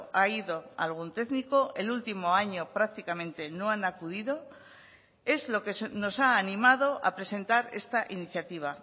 ha ido algún técnico el último año prácticamente no han acudido es lo que nos ha animado a presentar esta iniciativa